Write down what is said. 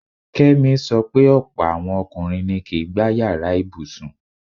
Kẹ́mi sọ pé ọ̀pọ̀ àwọn ọkùnrin ni kìí gbá yàrá ibùsùn.